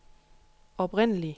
oprindelig